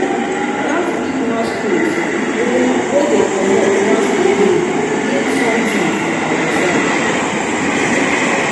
dat big masquerade wey wey dey comot once a year mean something for our side